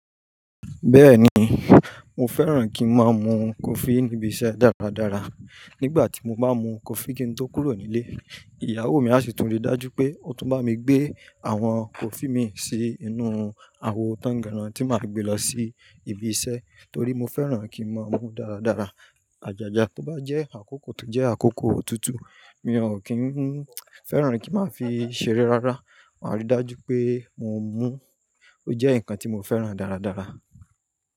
Bẹ́ẹ̀ni, mo fẹ́ràn kí ń máa mu coffee níbi iṣẹ́ dáradára. Nígbà tí mo bá mu cofí kí n tó kúrò nílé, ìyàwó mi a sì tún rí dájú pé ó tún bá mi gbé àwọn coffee mi sí inú àwo tangaran tí màá gbé lọ sí ibi iṣẹ́ torí mo fẹ́ràn kí ń máa mú dáradára. Ajaja tó bá jẹ́ àkókò tó jẹ́ àkókò òtútù, mi ò kí ń fẹ́ràn kí màá fi ṣeré rárá. Màá rí dájú pé mo mú. Ó jẹ́ nǹkan tí mo fẹ́ràn dáradára.